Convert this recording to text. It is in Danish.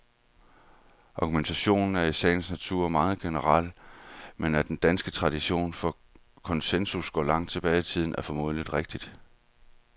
Argumentationen er i sagens natur meget generel, men at den danske tradition for konsensus går langt tilbage i tiden, er formentlig rigtigt.